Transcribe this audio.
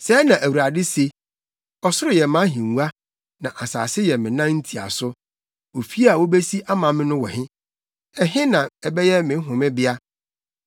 Sɛɛ na Awurade se: “Ɔsoro yɛ mʼahengua, na asase yɛ me nan ntiaso. Ofi a wubesi ama me no wɔ he? Ɛhe na ɛbɛyɛ me homebea?